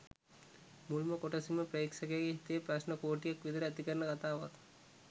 මුල්ම කොටසින්ම ප්‍රේක්ෂකයගේ හිතේ ප්‍රශ්ණ කෝටියක් විතර ඇති කරන කථාවක්.